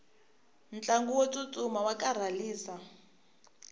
ntlangu wo tsutsuma wa karhalisa